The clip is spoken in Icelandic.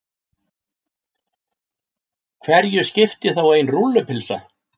Hverju skipti þá ein rúllupylsa.